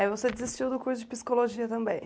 Aí você desistiu do curso de psicologia também.